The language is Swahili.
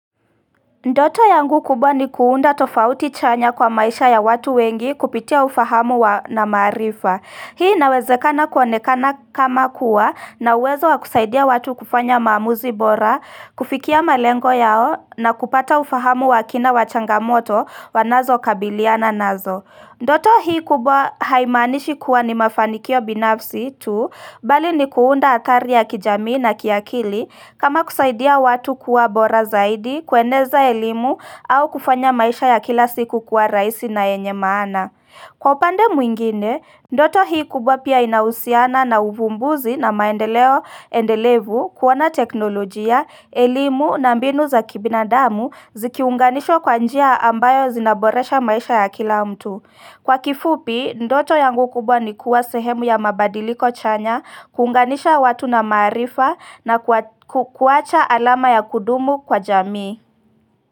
Ndoto yangu kubwa ni kuunda tofauti chanya kwa maisha ya watu wengi kupitia ufahamu wa na marifa. Hii nawezekana kuonekana kama kuwa na uwezo wakusaidia watu kufanya maamuzi bora, kufikia malengo yao na kupata ufahamu wakina wachangamoto wanazo kabiliana nazo. Ndoto hii kubwa haimanishi kuwa ni mafanikio binafsi tu bali ni kuunda atari ya kijamii na kiakili kama kusaidia watu kuwa bora zaidi, kueneza elimu au kufanya maisha ya kila siku kuwa raisi na enye maana. Kwa pande mwingine, ndoto hii kubwa pia inausiana na uvumbuzi na maendeleo endelevu kuwana teknolojia, elimu na mbinu za kibinadamu zikiunganishwa kwa njia ambayo zinaboresha maisha ya kila mtu. Kwa kifupi, ndoto yangu kubwa ni kuwa sehemu ya mabadiliko chanya, kuunganisha watu na maarifa na kuwacha alama ya kudumu kwa jamii.